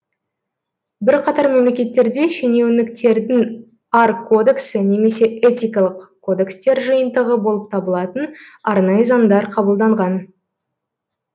бірқатар мемлекеттерде шенеуніктердің ар кодексі немесе этикалық кодекстер жиынтығы болып табылатын арнайы заңдар қабылданған